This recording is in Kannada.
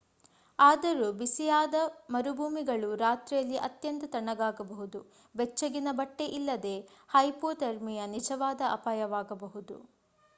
ಆದರೊ ಬಿಸಿಯಾದ ಮರುಭೂಮಿಗಳು ರಾತ್ರಿಯಲ್ಲಿ ಅತ್ಯಂತ ತಣ್ಣಗಾಗಬಹುದು.ಬೆಚ್ಚಗಿನ ಬಟ್ಟೆ ಇಲ್ಲದೆ hypothermia ನಿಜವಾದ ಅಪಾಯವಾಗಬಹುದು